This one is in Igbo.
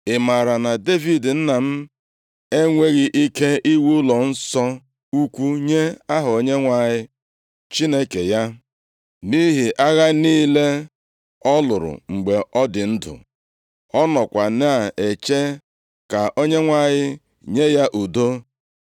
“Ị maara na Devid nna m enweghị ike iwu ụlọnsọ ukwuu nye Aha Onyenwe anyị Chineke ya, nʼihi agha niile ọ lụrụ mgbe ọ dị ndụ. + 5:3 \+xt 1Ih 28:2-3; 22:7-8\+xt* Ọ nọkwa na-eche ka Onyenwe anyị nye ya udo.